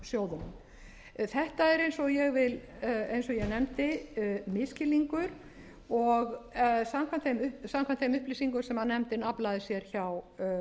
sjóðunum þetta er eins og ég nefndi misskilningur og samkvæmt þeim upplýsingum sem nefndin aflaði sér hjá